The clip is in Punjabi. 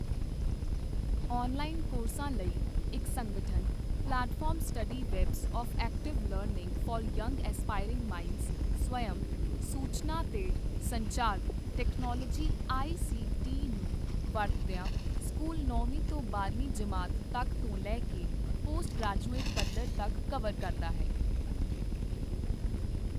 ਔਨਲਾਈਨ ਕੋਰਸਾਂ ਲਈ ਇੱਕ ਸੰਗਠਤ platform study webs of active learning for young aspiring minds ਸਵਯੰ, ਸੂਚਨਾ ਤੇ ਸੰਚਾਰ ਟੈਕਨੋਲੋਜੀ ਆਈਸੀਟੀ ਨੂੰ ਵਰਤਦਿਆਂ ਸਕੂਲ ਨੌਂਵੀਂ ਤੋਂ ਬਾਰਵੀਂ ਜਮਾਤ ਤੱਕ ਤੋਂ ਲੈ ਕੇ ਪੋਸਟ ਗ੍ਰੈਜੂਏਟ ਪੱਧਰ ਤੱਕ ਕਵਰ ਕਰਦਾ ਹੈ।